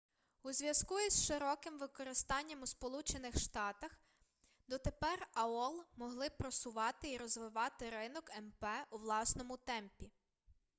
у зв'язку із широким використанням у сполучених штатах дотепер аол могли просувати і розвивати ринок мп у власному темпі